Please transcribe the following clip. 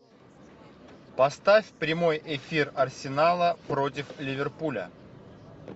поставь прямой эфир арсенала против ливерпуля